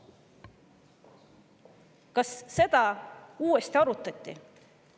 Kas seda uuesti arutati?